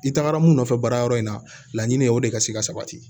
I tagara mun nɔfɛ baarayɔrɔ in na laɲini o de ka se ka sabati